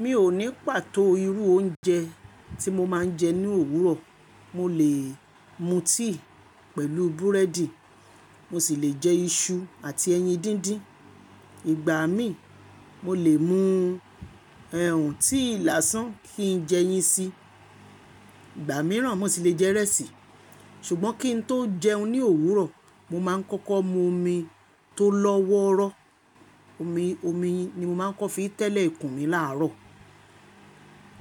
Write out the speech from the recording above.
Mi ò ní pàtó irú oúnjẹ tí mo máa ń jẹ ní òwúrọ̀. Mo lè mu tea pẹ̀lú búrẹ́dì, mo sì lè jẹ iṣu àti ẹyin díndín. Ìgbà míì mo lè mu ẹ ùn tea lásán kí n jẹ eyín si. Ìgbà míràn mo sì lè jẹ ìrẹsì. Ṣùgbọ́n kí n tó jẹun ní òwúrọ̀, mo máa ń kọ́kọ́ mu omi tó lọ́wọ́rọ́. Omi, omi ni mo máa ń fi kọ́ tẹ́lẹ̀ ikùn mi láàárọ̀